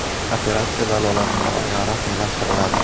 Operatsiya dalolatnoma bilan rasmiylashtiriladi.